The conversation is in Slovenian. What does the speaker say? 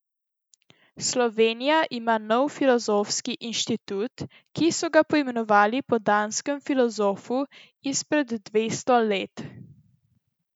Slovenija ima nov filozofski inštitut, ki so ga poimenovali po danskem filozofu izpred dvesto let.